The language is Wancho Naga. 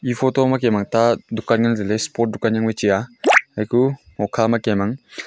e photo ma kem ang ta dukan ngantailey sport jangwai chi aa hukhama kem ang --